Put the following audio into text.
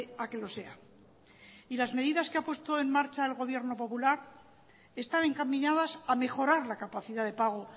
a que lo sea y las medidas que ha puesto en marcha el gobierno popular están encaminadas a mejorar la capacidad de pago